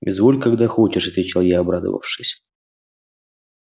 изволь когда хочешь отвечал я обрадовавшись